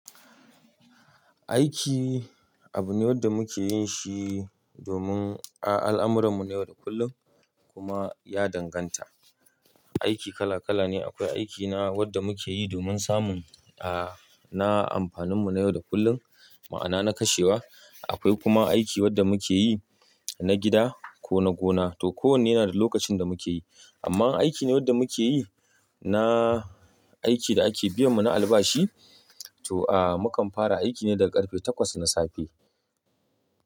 Aiki abu ne wanda muke yin shi domin, a al'amuran mu na yau da kullum kuma ya danganta. Aiki kala kala ne. Akwai aiki na wanda muke yi domin samun, a, na amfanin mu na yau da kullum, ma'ana na kashewa. Akwai kuma aiki wanda muke yi na gida ko na gona. To kowanne yana da lokacin da muke yi. Amma aiki ne wanda muke yi na aiki da ake biyan mu na albashi. To a, mukan fara aiki ne daga karfe takwas na safe.